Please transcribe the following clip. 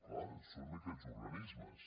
clar són aquests organismes